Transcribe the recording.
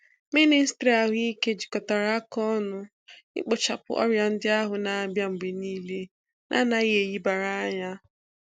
MỊNÎSTỊRỊ AHỤIKE JIKOTARA AKA ỌNỤ IKPỌCHAPỤ ORIA NDI AHU NA-ABIA MGBE NIILE NA ANAGHI ElEBARA ANYA.